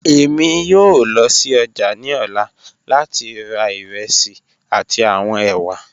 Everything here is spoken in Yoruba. Emi yoo lọ si ọja ni ọla lati ra iresi ati awọn ewa.